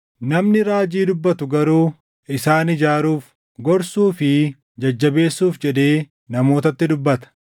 Namni raajii dubbatu garuu isaan ijaaruuf, gorsuu fi jajjabeessuuf jedhee namootatti dubbata.